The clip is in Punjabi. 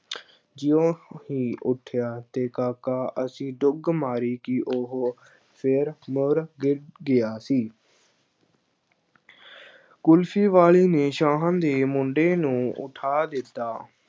ਜਿਉਂ ਹੀ ਉੱਠਿਆ, ਤੇ ਕਾਕਾ ਐਸੀ ਡੁਗ ਮਾਰੀ ਕਿ ਉਹ ਫਿਰ ਮੋਰ ਗਿਰ ਗਿਆ ਸੀ ਕੁਲਫ਼ੀ ਵਾਲੇ ਨੇ ਸ਼ਾਹਾਂ ਦੇ ਮੁੰਡੇ ਨੂੰ ਉੱਠਾ ਦਿੱਤਾ।